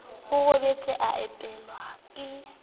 o robetse a opelwa ke